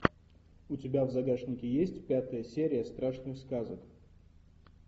у тебя в загашнике есть пятая серия страшных сказок